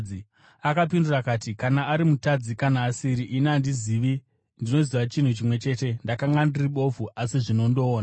Akapindura akati, “Kana ari mutadzi kana asiri, ini handizvizivi. Ndinoziva chinhu chimwe chete. Ndakanga ndiri bofu asi zvino ndoona!”